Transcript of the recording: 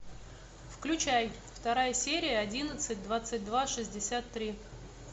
включай вторая серия одиннадцать двадцать два шестьдесят три